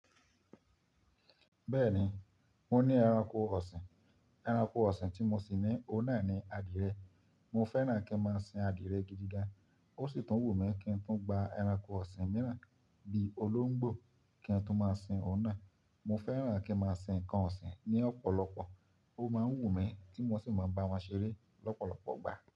Bẹ́ẹ̀ni, mo ní ẹranko ọ̀sìn. Ẹranko ọ̀sìn tí mo sì ní, ó náà ni adìẹ. Mo fẹ́ràn kí n máa sin adìẹ gidigan. Ó sì tún wù mí kí n tún gba ẹranko ọ̀sìn mìíràn bí i olóńgbò kí n tún máa sin ó náà. Mo fẹ́ràn kí n máa sin ǹkan ọ̀sìn ní ọ̀pọ̀lọpọ̀. Ó máa ń wù mí tí mo n sì máa bá wọn ṣeré lọ́pọ̀lọpọ̀ ìgbà.